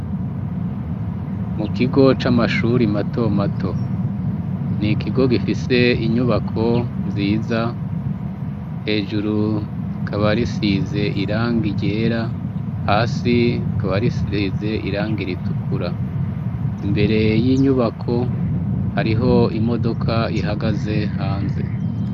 Mu kigo c'amashure mato mato, ni ikigo gifise inyubako nziza, hejuru rikaba risize irangi ryera, hasi rikaba risize irangi ritukura. Imbere y'inyubako hariho imodoka ihagaze hanze.